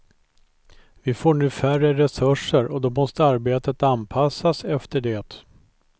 Vi får nu färre resurser och då måste arbetet anpassas efter det.